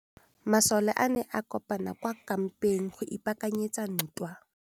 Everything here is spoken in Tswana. Masole a ne a kopane kwa kampeng go ipaakanyetsa ntwa.